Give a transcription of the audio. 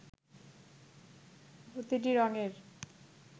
প্রতিটি রঙের